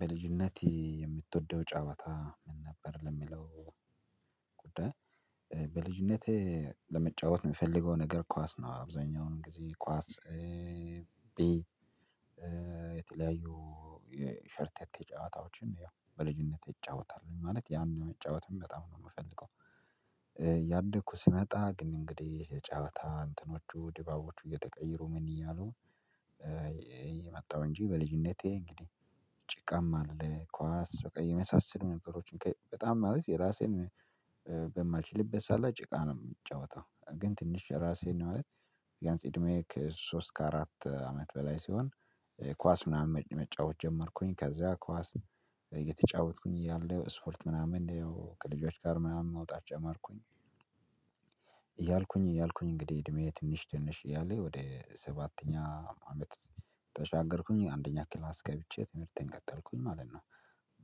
በልጅነቴ የምትወደው ጫወታ ምን ነበር? ለሚለው ጉዳይ በልጅነቴ ለመጫወት የምፈልገው ነገር ኳስ ነው አብዛኛውን ጊዜ ኳስ ቢ የተለያዩ የሸርቴ ጨዋታዎችን ያው በልጅነት ይጫወታሉ ማለት ያንን መጫወትም በጣም ነው የምፈልገው። እያደግኩ ስመጣ ግን እንግዲህ የጫወታ እንትኖቹ ድባቦቹ እየተቀየሩ ምን እያሉ የመጣው እንጂ በልጅነቴ እንግዲህ ጭቃም አለ ኳስ በቃ የመሳሰሉ ነገሮችን በጣም ማለት የራሴን በማልችልበት ሰዓት ላይ ጭቃ ነው የምንጫወተው። ግን ትንሽ ራሴ ነው አለ ቢያንስ እድሜ ከሶስት ከአራት አመት በላይ ሲሆን ኳስ ምናምን መጫወት ጀመርኩኝ። ከዛ ኳስ እየተጫወትኩኝ እያለ ስፖርት ምናምን ከልጆች ጋር ምናምን መውጣት ጨመርኩኝ እያልኩኝ እያልኩኝ እንግዲህ እድሜዬ ትንሽ ትንሽ እያለ ወደ ሰባተኛ አመት ተሻገርኩኝ አንደኛ ክላስ ገብቼ ትምህርቴን ቀጠልኩኝ ማለት ነው።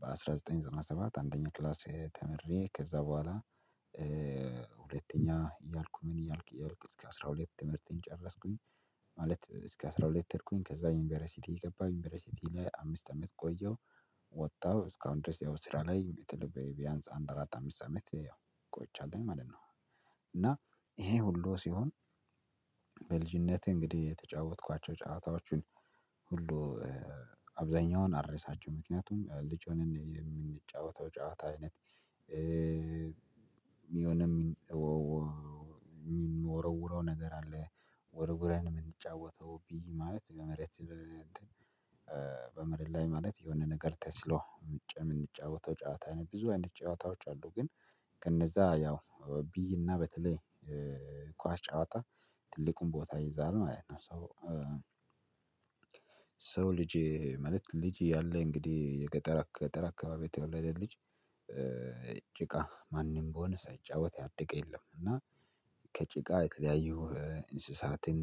በአንድ ሺህ ዘጠኝ መቶ ዘጠና ሰባት አንደኛ ክላሴ ተምሬ ከዛ በኋላ ሁለተኛ እያልኩ ምን እያልኩ እያልኩ እስከ አስራ ሁለት ትምህርቴን ጨረስኩኝ። ማለት እስከ አስራ ሁለት ተድኩኝ ከዛ ዩንቨርሲቲ የገባው ዩኒቨርሲቲ ላይ አምስት አመት ቆየው ወጣው እስካሁን ድረስ ያው ስራ ላይ ቢያንስ አንድ አራት አምስት ሰሜንት ቆይቻለሁኝ ማለት ነው። እና ይሄ ሁሉ ሲሆን በልጅነቴ እንግዲህ የተጫወትኳቸው ጫወታዎችን ሁሉ አብዛኛውን አልረሳቸው ምክንያቱም ልጅ ሆነን የምንጫወተው ጫወታ አይነት የሆነም ምንወረዉረው ነገር አለ ወርውረን የምንጫወተው ብዬ ማለት በመሬት በመሬት ላይ ማለት የሆነ ነገር ተስሎ ምንጫወተው ጫወታ አይነት ብዙ አንድ ጫወታዎች አሉ። ግን ከነዛ ያው ቢይና በተለይ ኳስ ጨዋታ ትልቁን ቦታ ይይዛል ማለት ነው። ሰው ሰው ልጅ ማለት ልጅ ያለ እንግዲህ የገጠር ገጠር አካባቢ የተወለደ ልጅ ጭቃ ማንም ቢሆን ሳይጫወት ያደገ የለም። እና ከጭቃ የተለያዩ እንስሳትን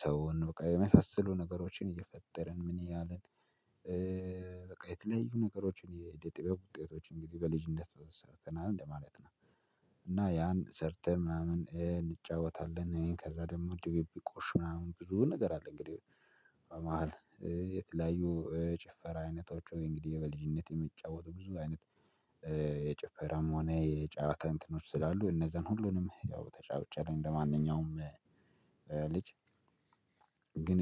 ሰውን በቃ የመፈሰሉ ነገሮችን እየፈጠርን ምን ያህል በቃ የተለያዩ ነገሮችን የኢደ ጥበብ ውጤቶች እንግዲህ በልጅነት ሰርተናል እንደማለት ነው። እና ያን ሰርተን ምናምን እንጫወታለን ከዛ ደግሞ ድብብቆሽ ምናምን ብዙ ነገር አለ። እንግዲህ በመሃል የተለያዩ ጭፈራ አይነቶች እንግዲህ የበልጅነት የሚጫወቱ ብዙ አይነት የጭፈራም ሆነ የጫወታ እንትኖች ስላሉ እነዛን ሁሉንም ያው ተጫውቼአለው። እንደማንኛውም ልጅ ግን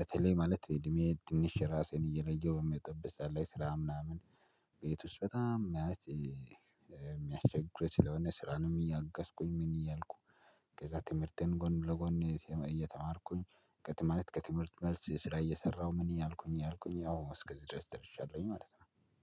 በተለይ ማለት እድሜ ትንሽ ራሴን እየለየሁ በምመጣበት ሰዓት ላይ ስራ ምናምን ቤት ውስጥ በጣም ማለት የሚያስቸግሩ ስለሆነ ስራ ነው እያገዝኩኝ ምን እያልኩ ከዛ ትምህርቴን ጎን ለጎን እየተማርኩኝ ከትምህርት ከትምህርት መልስ ስራ እየሰራሁ ምን እያልኩኝ እያልኩኝ ያው እስከዚህ ድረስ ደርሻለሁኝ። ማለት ነው